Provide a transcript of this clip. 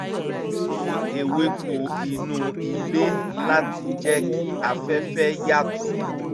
ó gbìn ewéko inú ilé láti jẹ́ kí afẹ́fẹ́ yàtọ̀